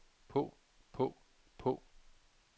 på på på